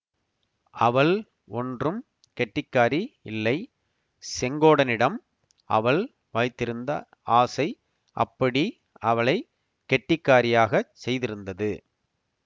அவள் ஒன்றும் கெட்டிக்காரி இல்லை செங்கோடனிடம் அவள் வைத்திருந்த ஆசை அப்படி அவளை கெட்டிக்காரியாகச் செய்திருந்தது